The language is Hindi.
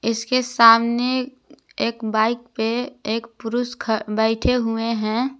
इसके सामने एक बाइक पे एक पुरुष ख बैठे हुए हैं।